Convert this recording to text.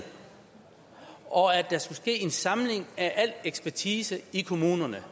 og fordi der skulle ske en samling af al ekspertise i kommunerne